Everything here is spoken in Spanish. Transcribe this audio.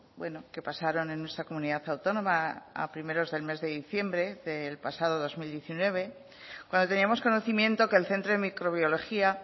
bueno que pasaron en nuestra comunidad autónoma a primeros del mes de diciembre del pasado dos mil diecinueve cuando teníamos conocimiento que el centro de microbiología